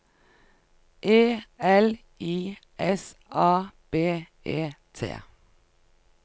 E L I S A B E T